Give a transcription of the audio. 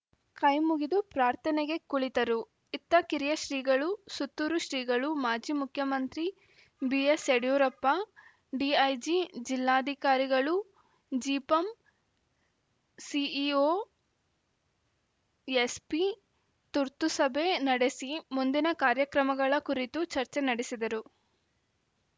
ಕೈಮುಗಿದು ಪ್ರಾರ್ಥನೆಗೆ ಕುಳಿತರು ಇತ್ತ ಕಿರಿಯ ಶ್ರೀಗಳು ಸುತ್ತೂರು ಶ್ರೀಗಳು ಮಾಜಿ ಮುಖ್ಯಮಂತ್ರಿ ಬಿಎಸ್‌ ಯಡಿಯೂರಪ್ಪ ಡಿಐಜಿ ಜಿಲ್ಲಾಧಿಕಾರಿಗಳು ಜಿಪಂ ಸಿಇಓ ಎಸ್ಪಿ ತುರ್ತು ಸಭೆ ನಡೆಸಿ ಮುಂದಿನ ಕಾರ್ಯಕ್ರಮಗಳ ಕುರಿತು ಚರ್ಚೆ ನಡೆಸಿದರು